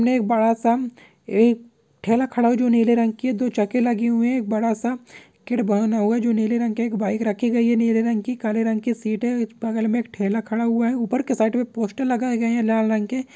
ने एक बड़ा सा एक ठेला खड़ा है जो नीले रंग की है। दो चक्के लगे हुए हैं। एक बड़ा-सा जो नीले रंग की बाइक रखी गयी है नीले रंग की काले रंग की सीट है। इस बगल में एक ठेला खड़ा हुआ है। ऊपर के साइड में पोस्टर लगाए गये हैं लाल रंग के।